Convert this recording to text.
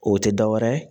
O tɛ dɔwɛrɛ ye